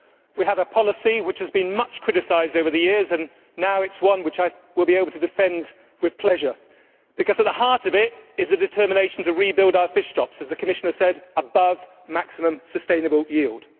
We have a policy which has been much criticised over the years and now it is one which I will be able to defend with pleasure because at the heart of it is the determination to rebuild our fish stocks, as the Commissioner said, above maximum sustainable yield.